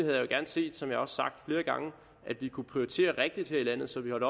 jeg jo gerne set som jeg også har sagt flere gange at vi kunne prioritere rigtigt her i landet så vi holdt